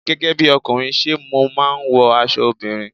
Gẹ́gẹ́ bíi ọkùnrin, ṣé mo máa wọ aṣọ obìnrin?